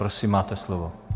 Prosím, máte slovo.